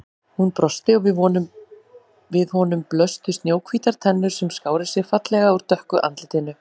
Hún brosti og við honum blöstu snjóhvítar tennur sem skáru sig fallega úr dökku andlitinu.